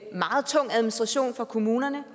meget tung administration for kommunerne